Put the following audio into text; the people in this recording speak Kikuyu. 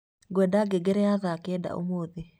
ngwenda ngengere ya thaa kenda ũmũthĩ